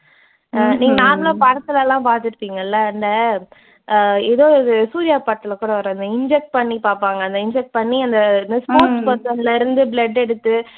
நீங்க normal ஆ படத்துல எல்லாம் பார்த்திருப்பீங்கல்ல அஹ் ஏதோ ஒரு சூர்யா படத்துல கூட வரும். இந்த inject பண்ணி பார்ப்பாங்க. அந்த inject பண்ணி அந்த இந்த sports person ல இருந்து blood எடுத்து